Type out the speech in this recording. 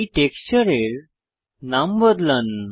এই টেক্সচারের নাম বদলান